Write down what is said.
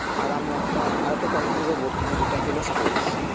আর আমি একটা আরেকটা topic - এর ওপর বলতে চাই যেটা হলো sports